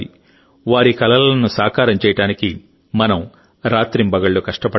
వారి కలలను సాకారం చేయడానికి మనం రాత్రింబగళ్లు కష్టపడాలి